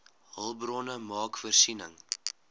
hulpbronne maak voorsiening